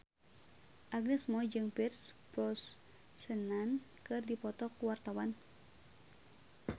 Agnes Mo jeung Pierce Brosnan keur dipoto ku wartawan